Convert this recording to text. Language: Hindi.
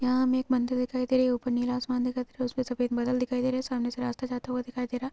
यहां हमें एक मंदिर दिखाई दे रहा है ऊपर नीला आसमान दिखाई दे रहा है ऊपर सफेद बादल दिखाई दे रहा है सामने से रास्ता जाता हुआ दिखाई दे रहा है।